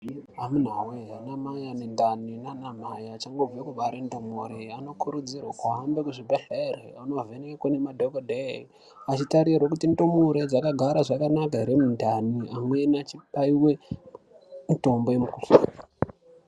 Amunawee, anamai ane ndani naana mai achangobve kubare ndumure anokurudzirwe kuhambe kuzvibhedhlere, onovhenekwe nemadhokodheye achitarirwe kuti ndumure dzakagara zvakanaka here mundani, amweni achibaiwe mutombo yemukuhlani.